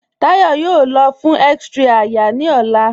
Táyọ̀ yóò lọ̀ fún x-ray àyà ni ọlá.